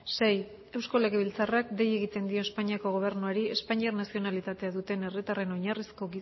sei eusko legebiltzarrak dei egiten dio espainiako gobernuari espainiar nazionalitatea duten herritarren oinarrizko